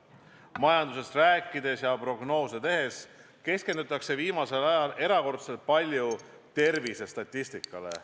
Majandusest rääkides ja prognoose tehes keskendutakse viimasel ajal erakordselt palju tervisestatistikale.